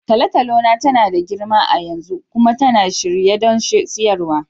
Tolotolo na tana da girma a yanzu kuma tana shirye don siyarwa.